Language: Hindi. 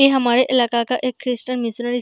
ये हमारे इलाका का एक क्रिस्टन --